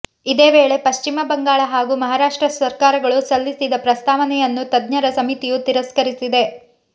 ಇದೇ ವೇಳೆ ಪಶ್ಚಿಮ ಬಂಗಾಳ ಹಾಗೂ ಮಹಾರಾಷ್ಟ್ರ ಸರ್ಕಾರಗಳು ಸಲ್ಲಿಸಿದ ಪ್ರಸ್ತಾವನೆಯನ್ನು ತಜ್ಞರ ಸಮಿತಿಯು ತಿರಸ್ಕರಿಸಿದೆ